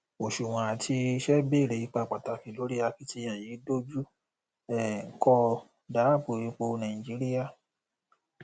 òṣùwòn àti iṣẹ bèrè ipá pàtàkì lórí akitiyan yìí dojú um kọ dáàbò epo nàìjíríà